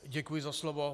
Děkuji za slovo.